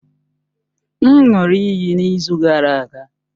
M ṅụụrụ iyi n'izu gara aga.